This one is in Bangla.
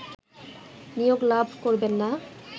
নিয়োগ লাভ করবেননা